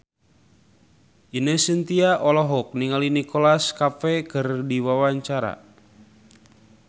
Ine Shintya olohok ningali Nicholas Cafe keur diwawancara